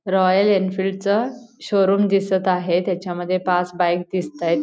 Royal Enfield च showroom दिसत आहे त्याच्या मध्ये पाच बाइक दिसतायेत.